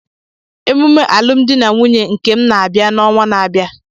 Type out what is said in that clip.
Emume alụm di na nwunye nke m na-abịa n'ọnwa na-abịa